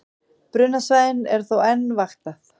Brunasvæðið er þó enn vaktað